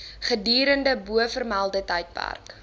gedurende bovermelde tydperk